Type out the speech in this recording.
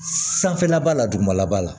Sanfɛla b'a la dugumala b'a la